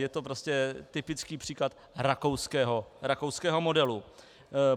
Je to prostě typický příklad rakouského modelu.